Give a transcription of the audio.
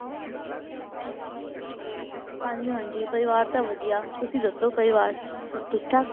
ਹਾਂਜੀ ਹਾਂਜੀ ਪਰਿਵਾਰ ਤਾਂ ਵਧੀਆ, ਤੁਸੀਂ ਦੱਸੋ ਪਰਿਵਾਰ ਸਭ ਠੀਕ ਠਾਕ?